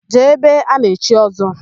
Jee ebe a na-echi Ọ́zọ́!